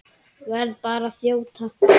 Verð bara að þjóta!